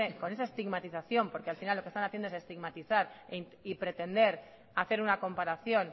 con esa estigmatización porque al final lo que están haciendo es estigmatizar y pretender hacer una comparación